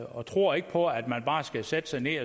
og tror ikke på at man bare skal sætte sig ned